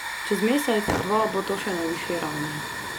Čez mesec, dva bo to še na višji ravni.